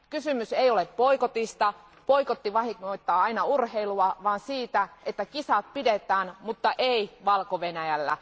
Kysymys ei ole boikotista, boikotti vahingoittaa aina urheilua, vaan siitä, että kisat pidetään, mutta ei Valko Venäjällä.